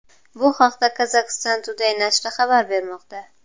Bu haqda Kazakhstan Today nashri xabar bermoqda .